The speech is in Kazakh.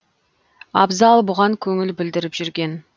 абзал бұған көңіл білдіріп жүрген